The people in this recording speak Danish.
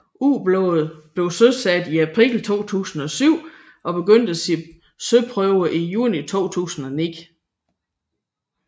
Ubåden blev søsat i april 2007 og begyndte sine søprøver i juni 2009